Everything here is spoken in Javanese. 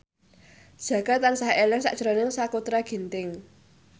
Jaka tansah eling sakjroning Sakutra Ginting